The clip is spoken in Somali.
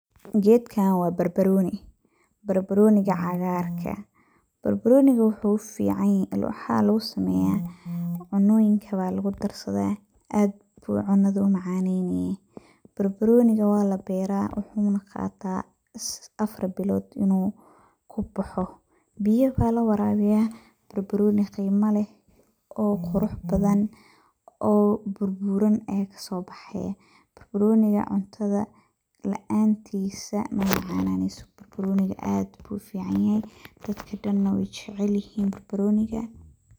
Gedkan wa barbaruni, barbaroniga cagarka ah. Barbaroniga waxa lugusameya cunoyinka aya lugudarsada aad ayu cunada umacaneya. barbaroniga walabera wuxu qataa afar bilod in uu kubax, biyo aya lawarawiya barbaroni qimo leeh oo qurux badan oo buuran aya kasobaxaaya, barbaroniga cuntada laantis mamacananeyso barnaroniga aad ayu ufican yahay dadkana wey jecelyihin.